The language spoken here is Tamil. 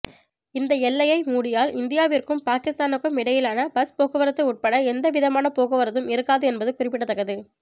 இந்த எல்லையை மூடியால் இந்தியாவிற்கும் பாகிஸ்தானுக்கும் இடையிலான பஸ் போக்குவரத்து உட்பட எந்த விதமான போக்குவரத்தும் இருக்காது என்பது குறிப்பிடத்தக்கது